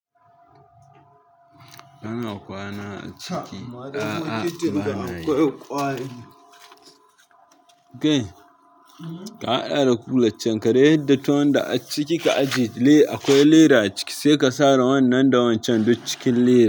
Kana kwana a ciki. A'a bana yi. Ka haɗa da kulaccen, ka dai yarda tuwon da a ciki ka ajiye. Akwai leda a ciki sai ka sare wannan da wancan duk cikin lera.